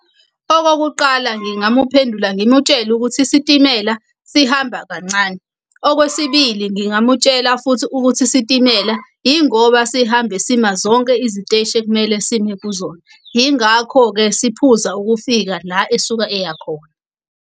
Okokuqala ngingamuphendula ngimutshele ukuthi isitimela sihamba kancane. Okwesibili ngingamutshela futhi ukuthi isitimela ingoba sihambe sima zonke iziteshi ekumele sime kuzona. Yingakho-ke siphuza ukufika la esuke eya khona.